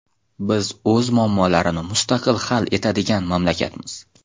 Biz o‘z muammolarini mustaqil hal etadigan mamlakatmiz.